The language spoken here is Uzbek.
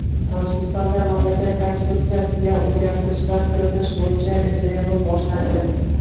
Tojikistonda mamlakat konstitutsiyasiga o‘zgartirishlar kiritish bo‘yicha referendum boshlandi.